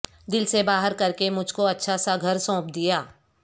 دل سے باہر کر کے مجھ کو اچھا سا گھر سونپ دیا